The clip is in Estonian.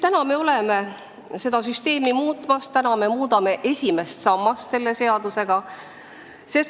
Täna me oleme seda süsteemi muutmas, me muudame selle seadusega esimest sammast.